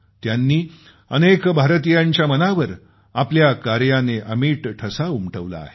त्यांनी अनेक भारतीयांच्या मनावर आपल्या कार्याने अमिट ठसा उमटवला आहे